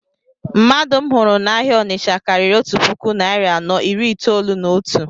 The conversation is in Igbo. Mmadụ m hụrụ na-áhiá Ọnitsha karịrị otu puku narị anọ iri itolu na otu